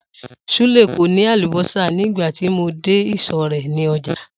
Súlè kò ní àlùbó̩sà nígbà tí mo dé ìsò̩ rè̩ nínú o̩jà